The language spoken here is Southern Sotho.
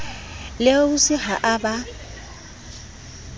le ausi ha ba a